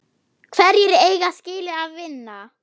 Hverjir eiga skilið að vinna?